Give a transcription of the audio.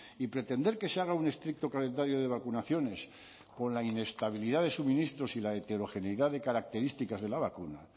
y pretender que se haga un estricto calendario de vacunaciones por la inestabilidad de suministros y la heterogeneidad de características de la vacuna